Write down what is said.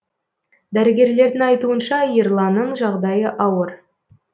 дәрігерлердің айтуынша ерланның жағдайы ауыр